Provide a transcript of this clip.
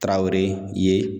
Tarawele ye.